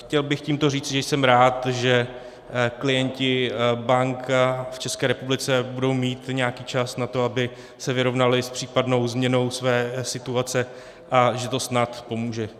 Chtěl bych tímto říci, že jsem rád, že klienti bank v České republice budou mít nějaký čas na to, aby se vyrovnali s případnou změnou své situace, a že to snad pomůže.